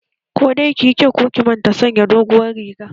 Ko dai ki yi kyau ko ki manta sanya doguwar riga!